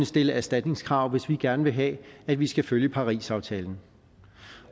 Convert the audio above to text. stille erstatningskrav hvis vi gerne vil have at vi skal følge parisaftalen